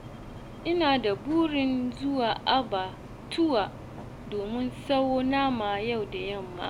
Ina da burin zuwa abbatuwa don sayo nama, yau da yamma.